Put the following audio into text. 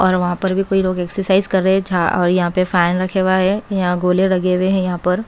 और वहां पर भी कोई लोग एक्सरसाइज कर रहे है जहां और यहां पे फैन रखे हुए है यहां गोले लगे हुए है यहां पर।